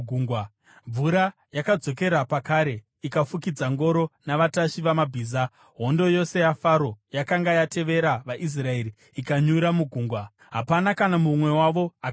Mvura yakadzokera pakare ikafukidza ngoro navatasvi vamabhiza, hondo yose yaFaro yakanga yatevera vaIsraeri ikanyura mugungwa. Hapana kana mumwe wavo akararama.